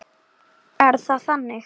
Er það þannig?